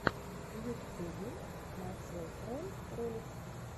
в ютюбе максвелл рэн ролик